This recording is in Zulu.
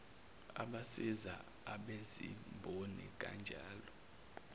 abasiza abezimboni kanjalo